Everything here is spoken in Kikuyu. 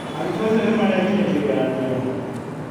Arutwo acio nĩ marekire kĩgeranio.